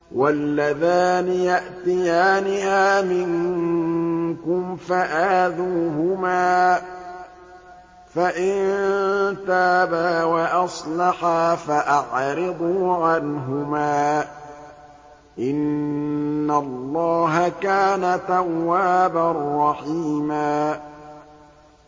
وَاللَّذَانِ يَأْتِيَانِهَا مِنكُمْ فَآذُوهُمَا ۖ فَإِن تَابَا وَأَصْلَحَا فَأَعْرِضُوا عَنْهُمَا ۗ إِنَّ اللَّهَ كَانَ تَوَّابًا رَّحِيمًا